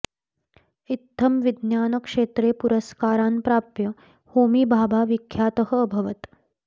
इत्थं विज्ञानक्षेत्रे पुरस्कारान् प्राप्य होमी भाभा विख्यातः अभवत्